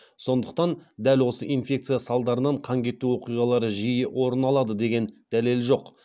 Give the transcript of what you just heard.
сондықтан дәл осы инфекция салдарынан қан кету оқиғалары жиі орын алады деген дәлел жоқ